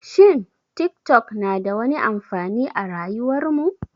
Shin tik tok na da wani amfani a rayuwar mu?